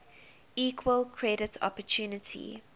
equal credit opportunity